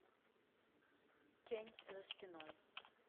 тень за спиной